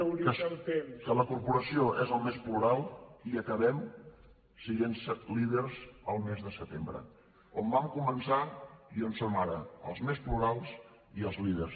acabo que la corporació és el més plural i acabem sent líders el mes de setembre on vam començar i on som ara els més plurals i els líders